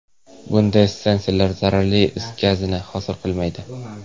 Bunday stansiyalar zararli is gazini hosil qilmaydi.